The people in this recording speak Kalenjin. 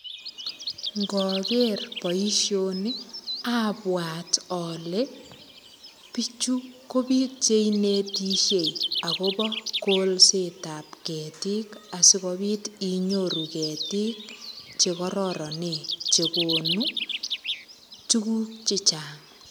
Ngoker boisioni abwat ale biichu ko biik che inetisiei agobo kolsetab ketiik asigopit inyoru ketiik che kororonen che konu tuguk che chang.